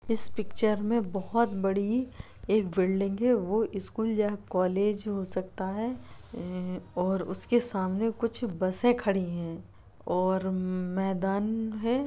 इस पिक्चर में बहुत बड़ी एक बिल्डिंग है वो स्कूल या कॉलेज हो सकता है और ऐं उसके सामने कुछ बसें खड़ी हैं और मम्म मैदान है।